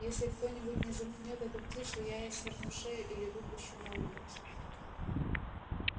если кто-нибудь не заткнёт эту птицу я ей сверну шею или выпущу на улицу